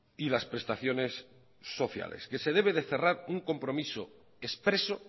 y las prestaciones sociales que se debe de cerrar un compromiso expreso